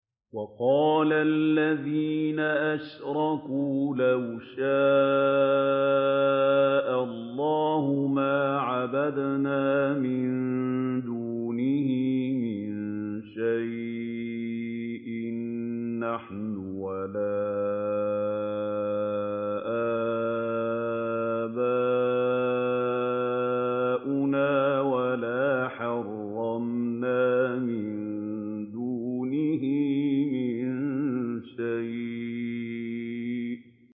وَقَالَ الَّذِينَ أَشْرَكُوا لَوْ شَاءَ اللَّهُ مَا عَبَدْنَا مِن دُونِهِ مِن شَيْءٍ نَّحْنُ وَلَا آبَاؤُنَا وَلَا حَرَّمْنَا مِن دُونِهِ مِن شَيْءٍ ۚ كَذَٰلِكَ فَعَلَ الَّذِينَ مِن قَبْلِهِمْ ۚ فَهَلْ عَلَى الرُّسُلِ إِلَّا الْبَلَاغُ الْمُبِينُ